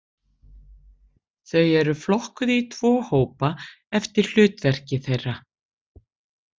Þau eru flokkuð í tvo hópa eftir hlutverki þeirra.